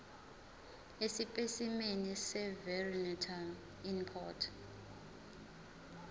esipesimeni seveterinary import